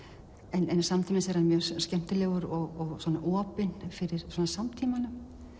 en samtímis er hann mjög skemmtilegur og opinn fyrir samtímanum